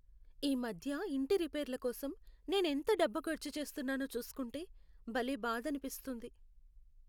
ఈ మధ్య ఇంటి రిపేర్ల కోసం నేను ఎంత డబ్బు ఖర్చు చేస్తున్నానో చూస్కుంటే భలే బాధనిపిస్తుంది.